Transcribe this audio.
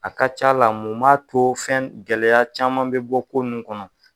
A ka ca la mun b'a to fɛn gɛlɛya caman bɛ bɔ ko nunnu kɔnɔ.